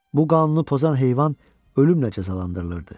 Bu qanunu pozan heyvan ölümlə cəzalandırılırdı.